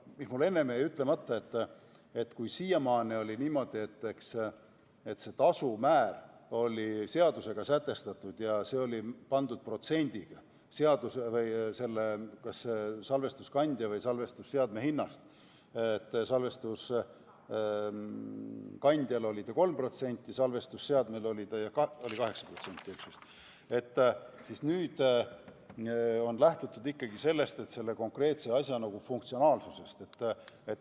Mul jäi enne ütlemata, et kui siiamaani oli niimoodi, et tasumäär oli seadusega sätestatud ja see oli pandud protsendina salvestuskandja või salvestusseadme hinnast – salvestuskandja puhul 3% ja salvestusseadme puhul 8% –, siis nüüd on lähtutud ikkagi konkreetse asja funktsionaalsusest.